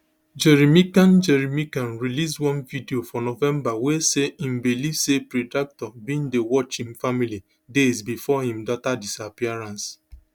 gerry mccann gerry mccann release one video fornovember wey say im believe say predator bin dey watch im family days bifor im daughter disappearance